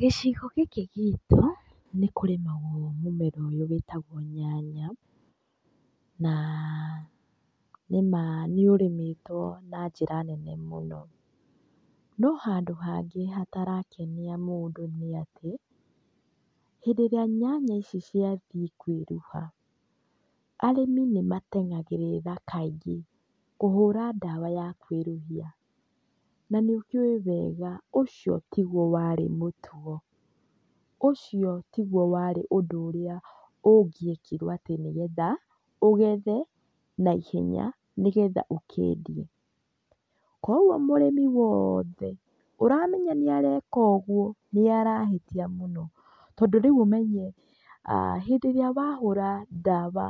Gicigo gĩkĩ gitũ, nĩ kũrĩmagwo mũmera ũyũ wĩtagwo nyanya, naa nĩma nĩũrĩmĩtwo na njĩra nene mũno, no handũ hangĩ hatarakenia mũndũ nĩ atĩ, hĩndĩ ĩrĩa nyanya ici ciathiĩ kwĩruha, arĩmi nĩmatengagĩrĩra kaingĩ kũhũra ndawa ya kwĩruhia. Na nĩ ũkĩũwĩ wega ũcio tiguo warĩ mũtugo, ũcio tiguo warĩ ũndũ ũrĩa ũngĩekirwo atĩ nĩgetha, ũgethe, naihenya, nĩgetha ũkendie. Kuoguo mũrĩmi woothe ũramenya nĩareka ũguo, nĩarahĩtia mũno. Tondũ rĩu ũmenye, hĩndĩ ĩrĩa wahũra ndawa